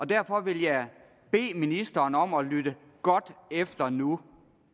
derfor vil jeg bede ministeren om at lytte godt efter nu